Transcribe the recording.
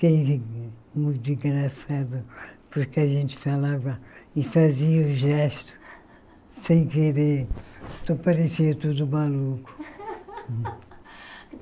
Fiquei muito engraçada, porque a gente falava e fazia o gesto sem querer, parecia tudo maluco.